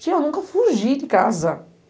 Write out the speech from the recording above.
Tia, eu nunca fugi de casa.